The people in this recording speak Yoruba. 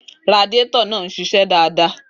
Radiator náà ń ṣiṣẹ́ dáadáa.